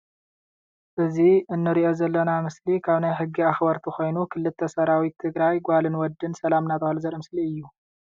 እዚ እንሪኦ ዘለና ምስሊ ካብ ናይ ሕጊ ኣክበርቲ ኮይኑ ክልተ ሰራዊት ትግራይ ጓልን ወድን ሰላም እንዳተባሃሉ ዘርኢ ምስሊ እዩ ።